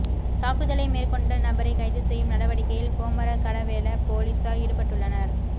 தாக்குதலை மேற்கொண்ட நபரை கைது செய்யும் நடவடிக்கையில் கோமரங்கடவெல பொலிஸார் ஈடுபட்டுள்ளனர்